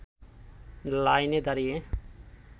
লাইনে দাঁড়িয়ে